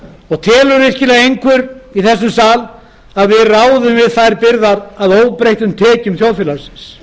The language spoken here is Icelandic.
óleyst telur virkilega einhver í þessum sal að við ráðum við þær byrðar að óbreyttum tekjum